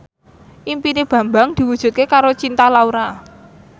impine Bambang diwujudke karo Cinta Laura